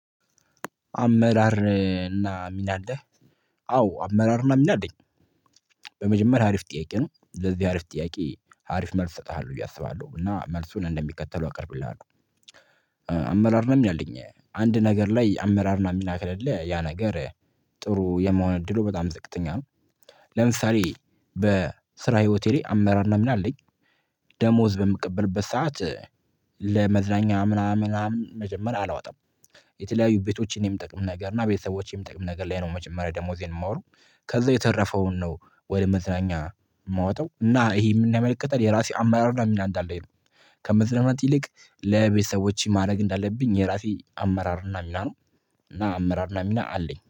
አመራር እና ሚና አለ፤ አዎ አመራር እና ሚና አለኝ። በመጀመሪያ አሪፍ ጥያቄ ነው፤ ለዚህ አሪፍ ጥያቄ አሪፍ መልስ እሰጥሃለሁ ብዬ አስባለሁ፤ እና መልሱን እንደሚከተለው አቀርብልሃለሁ። ነው ያለኝ፤ አንድ ነገር ላይ አመራርና ከለለህ፤ ያ ነገር ጥሩ የመሆን እድሉ በጣም ዝቅተኛ ነው፤ ለምሳሌ በስራ ህይወቴ ላይ አመራርና ምን አለኝ ደሞዝ በሚቀበልበት ሰዓት ለዝናኛም ምና ምን ምናምን መጀመሪያ አላወጣም የተለያዩ ቤቶችን የምጠቀም ነገር እና ቤተሰቦችን የምጠቀም ነገር ላይ ነው፤ መጀመሪያ ደሞዜን የማወጣው ከዛ የተረፈውን ነው ወደ መዝናኛ የማወጣው፤ እና እሄ ምን ያመለክታል የራሴ አማራር እና ሚና እንዳለኝ ነው፤ ከመዘናናት ይልቅ ለቤተሰቦቼ ማድረግ እንዳለብኝ የራሴ አመራር እና ሚና ነው፤ እና አመራር እና ሚና አለኝ።